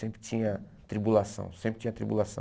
Sempre tinha tribulação, sempre tinha tribulação.